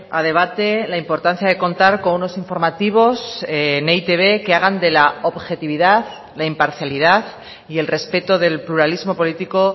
a debate la importancia de contar con unos informativos en e i te be que hagan de la objetividad la imparcialidad y el respeto del pluralismo político